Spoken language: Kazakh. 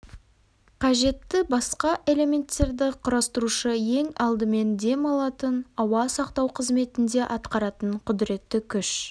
қажетті басқа элементтерді құрастырушы ең алдымен дем алатын ауа сақтау қызметін де атқаратын құдіретті күш